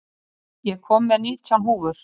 Fífill, ég kom með nítján húfur!